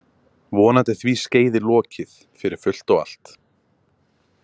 Vonandi er því skeiði lokið fyrir fullt og allt.